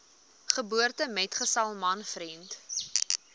geboortemetgesel man vriend